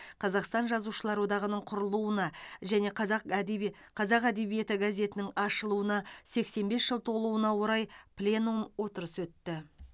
қазақстан жазушылар одағының құрылуына және қазақ әдеби қазақ әдебиеті газетінің ашылуына сексен бес жыл толуына орай пленум отырысы өтті